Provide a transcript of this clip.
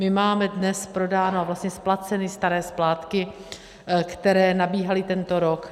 My máme dnes prodány a vlastně splaceny staré splátky, které nabíhaly tento rok.